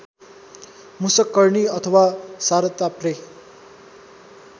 मुषककर्णी अथवा सरताप्रे